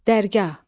Dərgah.